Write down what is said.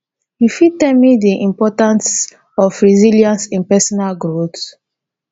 you fit tell me di importance of resilience in personal growth